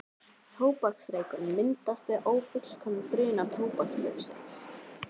Tóbaksreykurinn myndast við ófullkominn bruna tóbakslaufsins.